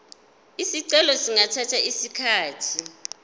izicelo zingathatha isikhathi